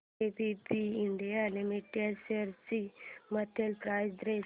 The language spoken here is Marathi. एबीबी इंडिया लिमिटेड शेअर्स ची मंथली प्राइस रेंज